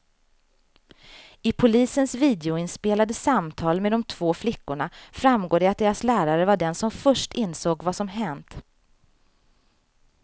I polisens videoinspelade samtal med de två flickorna framgår det att deras lärare var den som först insåg vad som hänt.